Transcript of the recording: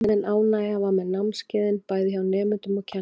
Almenn ánægja var með námskeiðin, bæði hjá nemendum og kennurum.